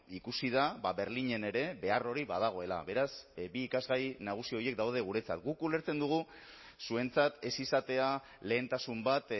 ikusi da berlinen ere behar hori badagoela beraz bi ikasgai nagusi horiek daude guretzat guk ulertzen dugu zuentzat ez izatea lehentasun bat